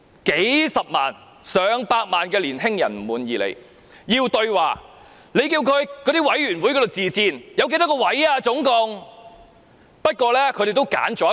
"數十萬、上百萬青年人不滿意她，要求對話，她叫他們向委員會自薦，請問那計劃總共有幾多個席位？